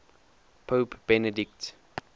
pope benedict